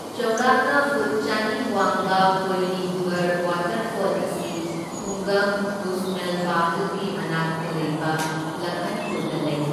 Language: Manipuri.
ꯆꯥꯎꯔꯥꯛꯅ ꯐꯨꯠ ꯆꯅꯤ ꯋꯥꯡꯕ ꯀꯣꯏꯂꯤꯘꯨꯒꯔ ꯋꯥꯇꯔꯐꯣꯜ ꯑꯁꯤ ꯈꯨꯡꯒꯪ ꯀꯨꯁꯃꯦꯜꯕꯥꯍꯜꯒꯤ ꯃꯅꯥꯛꯇ ꯂꯩꯕ ꯂꯈꯟꯄꯨꯔꯗ ꯂꯩ꯫